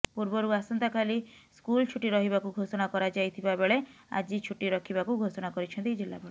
ପୂର୍ବରୁ ଆସନ୍ତାକାଲି ସ୍କୁଲ ଛୁଟି ରହିବାକୁ ଘୋଷଣା କରାଯାଇଥିବାବେଳେ ଆଜି ଛୁଟି ରଖିବାକୁ ଘୋଷଣା କରିଛନ୍ତି ଜିଲ୍ଲାପାଳ